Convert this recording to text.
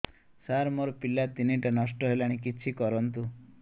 ସାର ମୋର ପିଲା ତିନିଟା ନଷ୍ଟ ହେଲାଣି କିଛି କରନ୍ତୁ